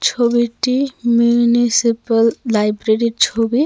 ছবিটি মিউনিসিপ্যাল লাইব্রেরির ছবি .